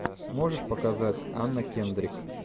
можешь показать анна кендрик